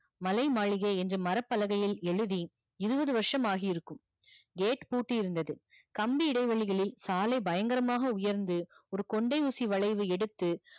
மலை மாளிகை என்று மர பலகையில் எழுதி இருவது வர்ஷம் ஆகி இருக்கும் gate பூட்டி இருந்தது கம்பி இடைவேலைகளில் சாலை பயங்கரமாக உயர்ந்து ஒரு கொண்டை ஊசி வளைவு எடுத்து